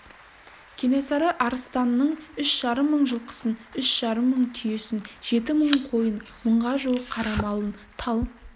кенесары арыстанның үш жарым мың жылқысын үш жарым мың түйесін жеті мың қойын мыңға жуық қара малын тал